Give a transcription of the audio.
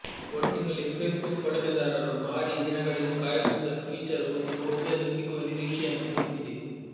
ಒಟ್ಟಿನಲ್ಲಿ ಫೇಸ್ಬುಕ್ ಬಳಕೆದಾರರು ಭಾರೀ ದಿನಗಳಿಂದ ಕಾಯುತ್ತಿದ್ದ ಫೀಚರ್ ಒಂದು ಬಹುಬೇಗ ಸಿಗುವ ನಿರೀಕ್ಷೆಯನ್ನು ಮೂಡಿಸಿದೆ